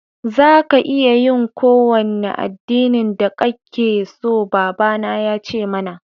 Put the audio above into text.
Za ka iya yi ƙowane addinin da ƙake so, baba na ya ce mana.